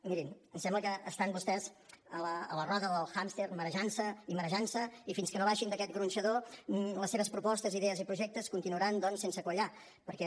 mirin em sembla que estan vostès a la roda del hàmster marejant se i marejant se i fins que no baixin d’aquest gronxador les seves propostes idees i projectes continuaran doncs sense quallar perquè